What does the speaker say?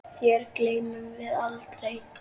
Þér gleymum við aldrei.